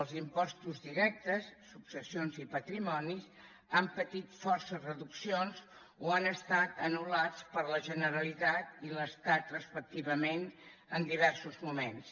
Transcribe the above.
els impostos directes successions i patrimoni han patit forces reduccions o han estat anul·lats per la generalitat i l’estat respectivament en diversos moments